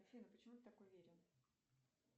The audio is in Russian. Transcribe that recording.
афина почему ты так уверен